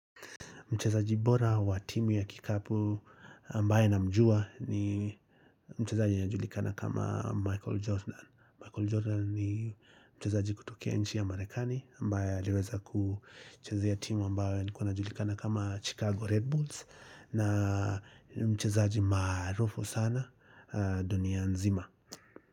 Mchezaji bora wa timu ya kikapu ambaye namjua ni mchezaji anajulikana kama Michael Jordan. Michael Jordan ni mchezaji kutokea nchi ya Amerikani ambaye aliweza kuchezea timu ambaye ilikuwa inajulikana kama Chicago Red Bulls na mchezaji maarufu sana dunia nzima.